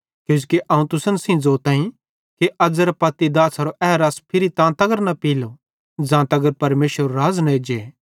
किजोकि अवं तुसन सेइं ज़ोताईं कि अज़ेरां पत्ती दाछ़ारो ए रस फिरी तां तगर न पीलो ज़ां तगर परमेशरेरू राज़ न एज्जे